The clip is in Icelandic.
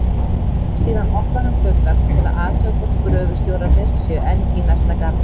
Síðan opnar hann gluggann til að athuga hvort gröfustjórarnir séu enn í næsta garði.